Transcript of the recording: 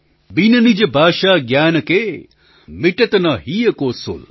ज्ञान के मिटत न हिय को सूल ||